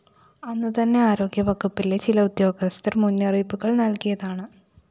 അന്നു തന്നെ ആരോഗ്യ വകുപ്പിലെ ചില ഉദ്യോഗസ്ഥര്‍ മുന്നറിയിപ്പുകള്‍ നല്‍കിയതാണ്